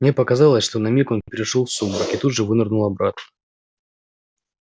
мне показалось что на миг он перешёл в сумрак и тут же вынырнул обратно